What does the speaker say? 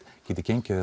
gengið